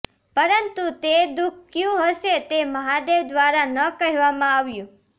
પરંતુ તે દુઃખ કયું હશે તે મહાદેવ દ્વારા ન કહેવામાં આવ્યું